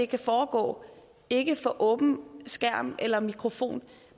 kan foregå ikke for åben skærm eller mikrofon